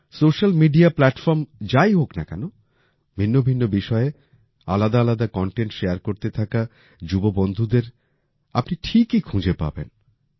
social media platform যাই হোক না কেন ভিন্ন ভিন্ন বিষয়ে আলাদা আলাদা কনটেন্ট শেয়ার করতে থাকা যুব বন্ধুদের আপনি ঠিকই খুঁজে পাবেন